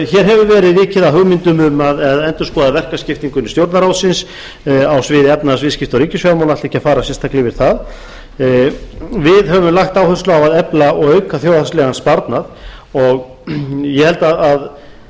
hér hefur verið vikið að hugmyndum um að endurskoða verkaskiptingu innan stjórnarráðsins á sviði efnahags viðskipta og ríkisfjármála og ætla ekki að fara sérstaklega yfir það við höfum lagt áherslu á að efla og auka þjóðhagslegan sparnað og í raun